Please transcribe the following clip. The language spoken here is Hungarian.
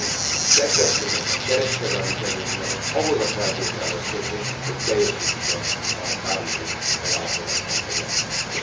Magyarul kedvezményeket, kereskedelmi kedvezményeket ahhoz a feltételhez kötni, hogy teljesítik e a Párizsi Megállapodásban foglaltakat.